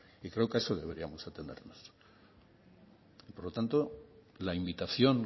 y creo que a eso deberíamos atenernos por lo tanto la invitación